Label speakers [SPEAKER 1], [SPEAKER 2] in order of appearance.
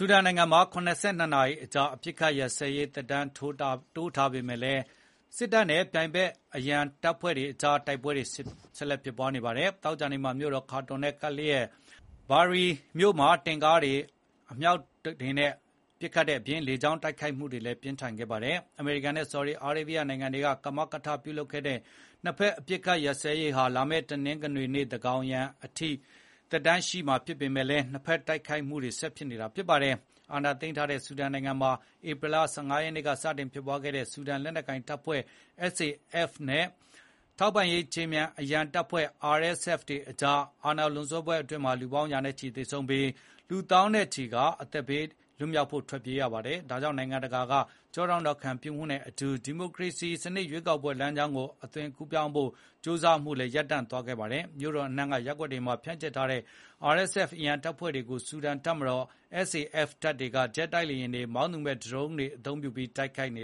[SPEAKER 1] ူဒန်နိုင်ငံမှာ ၇၂ နာရီကြာ အပစ်အခတ်ရပ်စဲရေး သက်တမ်းတိုးထားပေမယ့် စစ်တပ်နဲ့ ပြိုင်ဖက် အရံတပ်ဖွဲ့တွေကြား တိုက်ပွဲတွေ ဆက်ဖြစ်နေပါတယ်။ သောကြာနေ့မှာ မြို့တော် ခါတွန်နဲ့ကပ်လျက် ဘာရီ Bahri မြို့တွေမှာ တင့်ကားတွေ၊ အမြောက်တွေအပြင် လေကြောင်း တိုက်ခိုက်မှုတွေလည်း ပြင်းထန်ခဲ့ပါတယ်။ အမေရိကန်နဲ့ ဆော်ဒီအာရေဗျ နိုင်ငံတွေက ကမကထလုပ်တဲ့ နှစ်ဖက် အပစ်အခတ်ရပ်စဲရေးဟာ လာမယ့် တနင်္ဂနွေနေ့ သန်းခေါင်ယံအထိ သက်တမ်းရှိပေမယ့် နှစ်ဖက်တိုက်ခိုက်မှုတွေက ဆက်ဖြစ်နေတာပါ။ စစ်အာဏာသိမ်းထားတဲ့ ဆူဒန်နိုင်ငံမှာ ဧပြီလ ၁၅ ရက်နေ့က စတင်ဖြစ်ပွားခဲ့တဲ့ ဆူဒန်လက်နက်ကိုင်တပ်ဖွဲ့ (SAF) နဲ့ ထောက်ပံ့ရေးခြေမြန် အရန်တပ်ဖွဲ့(RSF) ကြား အာဏာလွန်ဆွဲပွဲအတွင်းမှာ လူပေါင်း ရာနဲ့ချီသေဆုံးပြီး လူ သောင်းနဲ့ချီဟာ အသက်ဘေးက ထွက်ပြေးခဲ့ရပါတယ်။ ဒါကြောင့် နိုင်ငံတကာ ကျောထောက်နောက်ခံ ပြုမှုနဲ့အတူ ဒီမိုကရေစီစနစ် ရွေးကောက်ပွဲ လမ်းကြောင်းကို အသွင်ကူးပြောင်းဖို့ ကြိုးစားမှုကလည်း ရပ်တန့်သွားခဲ့ပါတယ်။ မြို့တော်အနှံ့က ရပ်ကွက်တွေမှာ ဖြန့်ကျက်ထားတဲ့ RSF အရန်တပ်ဖွဲ့တွေကို ဆူဒန်တပ်မတော် SAF တပ်တွေက ဂျက်လေယာဉ်တွေ၊ မောင်းသူမဲ့ ဒရုန်းယာဉ်ငယ်တွေသုံးပြီး တိုက်ခိုက်နေ